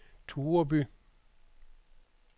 Tureby